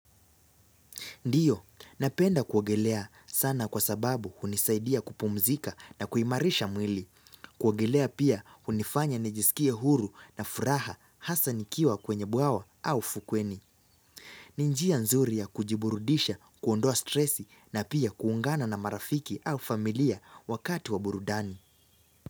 Ndiyo, napenda kuogelea sana kwa sababu hunisaidia kupumzika na kuimarisha mwili. Kuogelea pia hunifanya nijisikie huru na furaha hasa nikiwa kwenye bwawa au ufukweni. Ni njia nzuri ya kujiburudisha kuondoa stresi na pia kuungana na marafiki au familia wakati wa burudani.